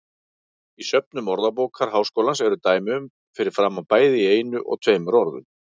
Í söfnum Orðabókar Háskólans eru dæmi um fyrir fram bæði í einu og tveimur orðum.